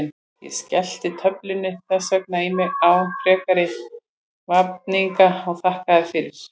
Ég skellti töflunni þess vegna í mig án frekari vafninga og þakkaði henni fyrir.